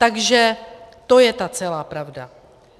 Takže to je ta celá pravda.